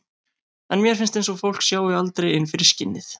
En mér finnst eins og fólk sjái aldrei inn fyrir skinnið.